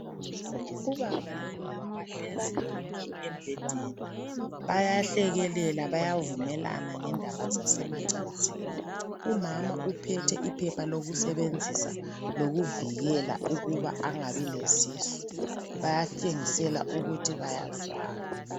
Ubaba lomama bahlezi bonke embhedeni, bayahlekelela .Bayavumelana ngendaba zasemacansini ,umama uphethe iphepha lokusebenzisa .Lokuvikela ukuba angabi lesisu bayatshengisela ukuthi bayazwana.